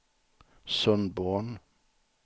Sundborn